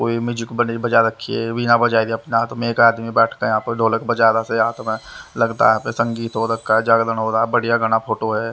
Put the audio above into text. कोई म्यूजिक बड़ी बजा रखी है बीना बजाई अपने हाथ में एक आदमी बैठकर यहाँ पर ढोलक बजा रहा से हाथ में लगता है संगीत हो रखा है जागरण हो रहा है बढ़िया गाना फोटो है।